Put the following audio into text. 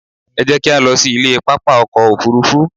Ẹ jẹ́ kí á lọ sí ilé pápá ọkọ̀ Òfurufú.